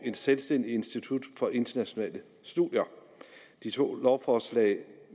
selvstændigt institut for internationale studier disse to lovforslag